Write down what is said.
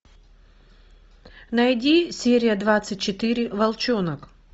найди серия двадцать четыре волчонок